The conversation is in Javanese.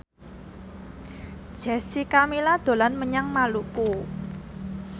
Jessica Milla dolan menyang Maluku